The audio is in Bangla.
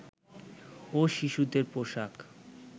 ও শিশুদের পোশাক